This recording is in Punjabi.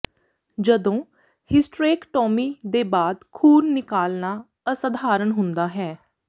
ਜਦੋਂ ਹਿਸਟਰੇਕਟੋਮੀ ਦੇ ਬਾਅਦ ਖ਼ੂਨ ਨਿਕਲਣਾ ਅਸਧਾਰਨ ਹੁੰਦਾ ਹੈ